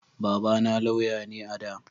Baba na lauya ne a da